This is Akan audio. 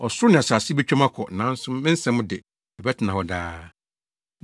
Ɔsoro ne asase betwa mu akɔ, nanso me nsɛm de, ɛbɛtena hɔ daa.